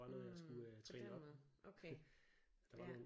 mh på den måde okay ja